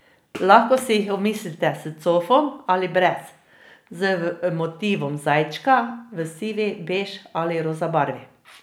Lahko si jih omislite s cofom ali brez, z motivom zajčka, v sivi, bež ali roza barvi.